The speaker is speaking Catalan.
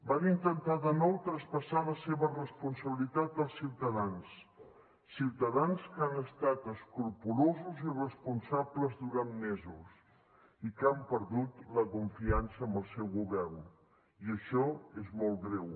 van intentar de nou traspassar la seva responsabilitat als ciutadans ciutadans que han estat escrupolosos i responsables durant mesos i que han perdut la confiança en el seu govern i això és molt greu